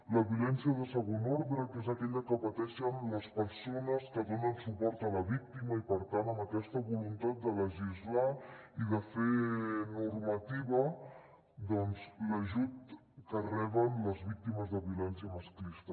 la violència de segon ordre que és aquella que pateixen les persones que donen suport a la víctima i per tant amb aquesta voluntat de legislar i de fer normativa doncs l’ajut que reben les víctimes de violència masclista